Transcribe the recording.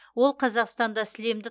ол қазақстанда сілемді